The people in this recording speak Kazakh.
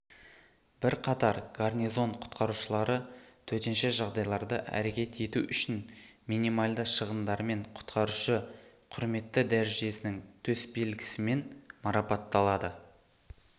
бірқатар гарнизон құтқарушылары төтенше жағдайларда әрекет ету үшін минималды шығындармен құтқарушы құрметті дәрежесінің төсбелгісімен марапатталады